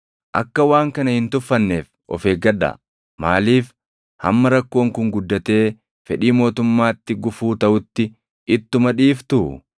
Akka waan kana hin tuffanneef of eeggadhaa. Maaliif hamma rakkoon kun guddatee fedhii mootummaatti gufuu taʼutti ittuma dhiiftuu?